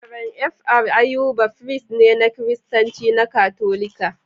Rev Fr Ayuba firist ne na Kiristanci na Katolika.